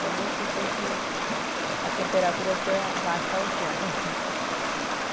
Tem dias que depois que o a temperatura quer baixar o chão.